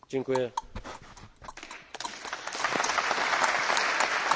Dziękuję, Panie Premierze, za wygłoszone przemówienie,